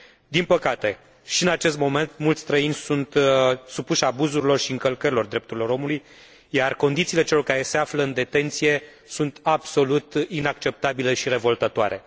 Din păcate, și în acest moment, mulți străini sunt supuși abuzurilor și încălcărilor drepturilor omului, iar condițiile celor care se află în detenție sunt absolut inacceptabile și revoltătoare.